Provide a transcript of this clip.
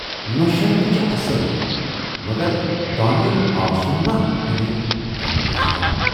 نۅشہِ ہَن تہِ چھِ اَصل مگر ٹامی یُن آسُن ما اَنہٕ کملہِ سِتم۔